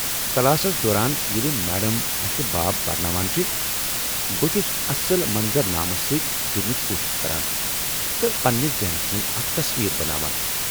Classes دوران ییٚلہ madam اسہ باب پرناوان چھےٚ، بہٕ چُھس اصل منظر نامس سۭتۍ جُڈنٕچ كوٗشِش كران تہٕ پننس ذہنس منٛز اکھ تصویر بناوان ۔